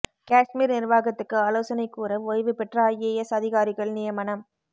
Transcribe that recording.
காஷ்மீர் நிர்வாகத்துக்கு ஆலோசனை கூற ஓய்வு பெற்ற ஐஏஎஸ் அதிகாரிகள் நியமனம்